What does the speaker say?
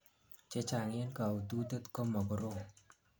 chechang en kaututet koma korom